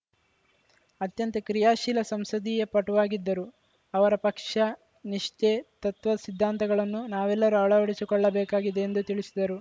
ಅತ್ಯಂತ ಕ್ರಿಯಾಶೀಲ ಸಂಸದೀಯ ಪಟುವಾಗಿದ್ದರು ಅವರ ಪಕ್ಷ ನಿಷ್ಠೆ ತತ್ವ ಸಿದ್ಧಾಂತಗಳನ್ನು ನಾವೆಲ್ಲರೂ ಅಳವಡಿಸಿಕೊಳ್ಳಬೇಕಾಗಿದೆ ಎಂದು ತಿಳಿಸಿದರು